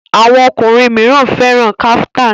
Àwọn okọrin míràn féràn kaftan.